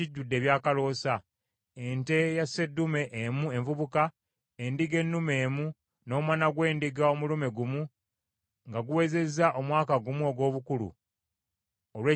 ente eya sseddume emu envubuka, endiga ennume emu, n’omwana gw’endiga omulume gumu nga guwezezza omwaka gumu ogw’obukulu, olw’ekiweebwayo ekyokebwa;